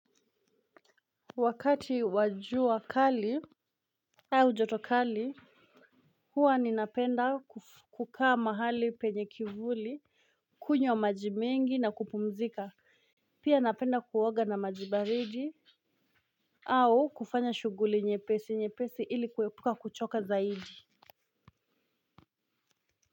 Wakati wa jua kali au joto kali huwa ninapenda kukaa mahali penye kivuli. Kunywa maji mengi na kupumzika. Pia napenda kuoga na maji baridi. Au kufanya shughuli nyepesi nyepesi ili kuepuka kuchoka zaidi.